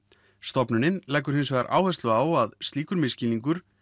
stofnunin leggur hins vegar áherslu á að slíkur misskilningur